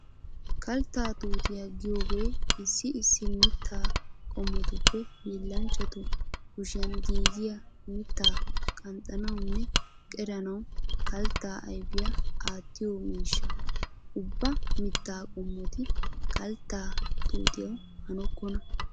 Kaltta tuutiyaa giyoogee issi issi mittaa qommotuppe hiillanchchatu kushiyan giigiyaa mittaa qanxxanawunne qeranawu kaltta ayfiyaa aattiyoo miishsha. Ubba mittaa qommoti kaltta tuutiyaawu hanokkonna.